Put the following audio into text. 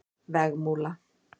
Vegmúla